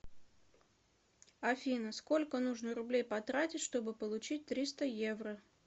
афина сколько нужно рублей потратить чтобы получить триста евро